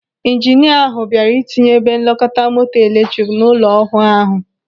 Ijinia ahụ bịara ịtinye ebe nlekọta moto eletrik n'ụlọ ọhụụ ahụ.